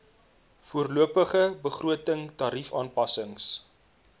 voorlopige begroting tariefaanpassings